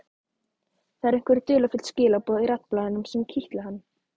Það eru einhver dularfull skilaboð í raddblænum sem kitla hann.